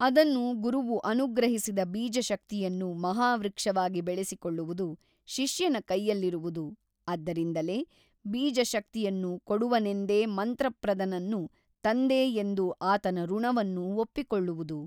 ಅದನ್ನು ಗುರುವು ಅನುಗ್ರಹಿಸಿದ ಬೀಜಶಕ್ತಿಯನ್ನು ಮಹಾವೃಕ್ಷವಾಗಿ ಬೆಳೆಸಿಕೊಳ್ಳುವುದು ಶಿಷ್ಯನ ಕೈಯಲ್ಲಿರುವುದು ಆದ್ದರಿಂದಲೇ ಬೀಜಶಕ್ತಿಯನ್ನು ಕೊಡುವನೆಂದೇ ಮಂತ್ರಪ್ರದನನ್ನು ತಂದೆ ಎಂದು ಆತನ ಋಣವನ್ನು ಒಪ್ಪಿಕೊಳ್ಳುವುದು.